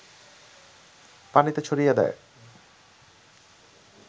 পানিতে ছড়িয়ে দেয়